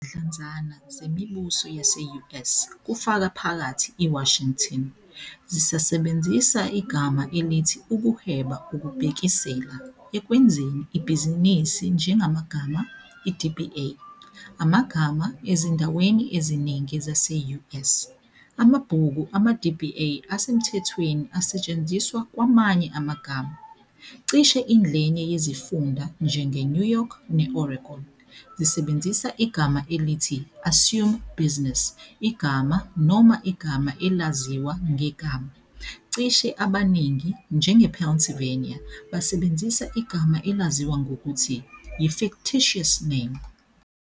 Izidlanzana zemibuso yase-U. S, kufaka phakathi iWashington, zisasebenzisa igama elithi ukuhweba ukubhekisela "ekwenzeni ibhizinisi njengamagama", i-DBA, amagama, Ezindaweni eziningi zase-U. S., Amabhuku ama-DBA asemthethweni asetshenziswa kwamanye amagama, cishe ingxenye yezifunda, njengeNew York ne-Oregon, zisebenzisa igama elithi Assume Business Igama noma Igama Elaziwa Ngegama, Cishe abaningi, njengePennsylvania, basebenzisa igama elaziwa ngokuthi yi-Fictitious Name.